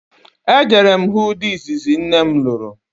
E jere m hụ di izizi nne m lụrụ